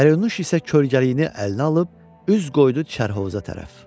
Pərinuş isə kölgəliyini əlinə alıb üz qoydu çərhovuza tərəf.